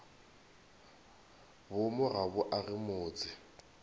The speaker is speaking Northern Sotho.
boomo ga bo age motse